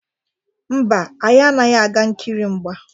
Mba, anyị anaghị aga nkiri mgba.